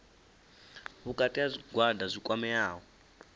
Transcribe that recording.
vhukati ha zwigwada zwi kwameaho